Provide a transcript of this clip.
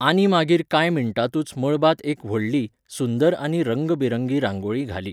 आनी मागीर कांय मिनटांतूच मळबांत एक व्हडली, सुंदर आनी रंगबेरंगी रांगोळी घाली.